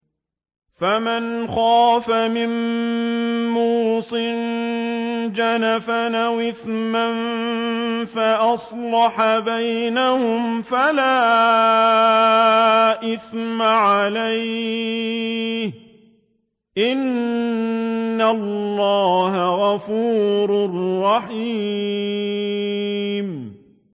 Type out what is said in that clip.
فَمَنْ خَافَ مِن مُّوصٍ جَنَفًا أَوْ إِثْمًا فَأَصْلَحَ بَيْنَهُمْ فَلَا إِثْمَ عَلَيْهِ ۚ إِنَّ اللَّهَ غَفُورٌ رَّحِيمٌ